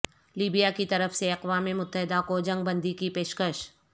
Libya کی طرف سے اقوام متحدہ کو جنگ بندی کی پیشکش